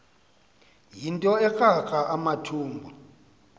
yinto ekrakra amathumbu